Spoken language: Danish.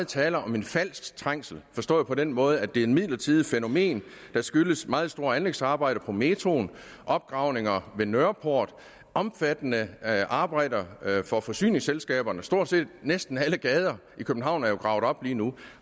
tale om en falsk trængsel forstået på den måde at det er et midlertidigt fænomen der skyldes meget store anlægsarbejder på metroen opgravninger ved nørreport omfattende arbejder for forsyningsselskaberne stort set næsten alle gader i københavn er jo gravet op lige nu